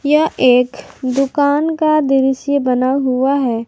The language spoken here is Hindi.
यह एक दुकान का दृश्य बना हुआ है।